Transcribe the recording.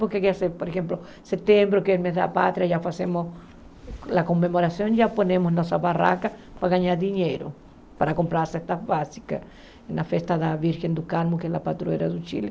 Por exemplo, em setembro, que é o mês da pátria, já fazemos a comemoração, já colocamos nossa barraca para ganhar dinheiro, para comprar as festas básicas, na festa da Virgem do Carmo, que é a patrulheira do Chile.